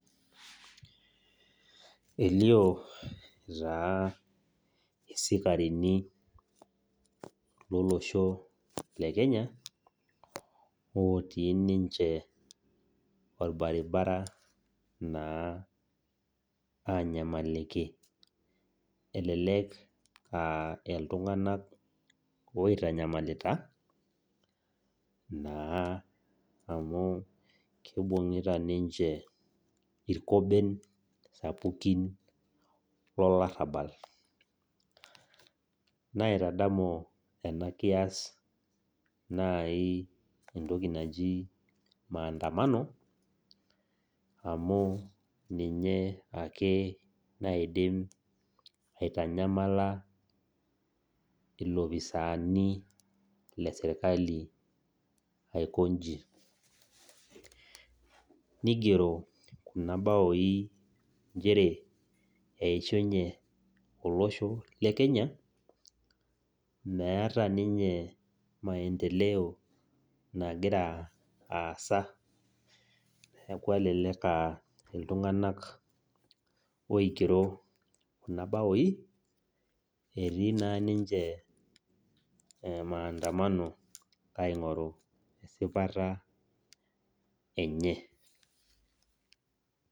Elio taa isikarini lolosho le Kenya otii ninche olbaribara naa anyamliki. Elelek aa iltung'anak oitanyamalita naa amu keibung'ita ninche ilkoben sapukin lorabal. Naitadamu ena kias naaji entoki naji maadamano amu ninye ake naidim aitanyamala ilopisaani le serkali aiko inji. Neigero kuna baoi nchere "eishunye olosho le Kenya, meata ninye maendeleo nagira aasa". Neaku aa iltung'ana oigero kuna baoi etii naa ninche maadamano aing'oru esipata enye.